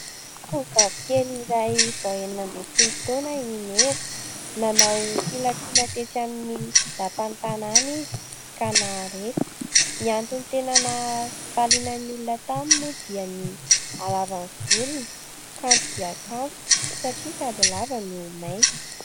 Tovovavy kely iray vao enina ambin'ny folo taona i Meva. Nanao filatroana tetsy amin'ny lapan'ny tanàna izy ka naharesy. Ny antony tena nampaliana ny olona taminy moa dia ny halavan'ny volony kanto dia kanto satria sady lava no mainty.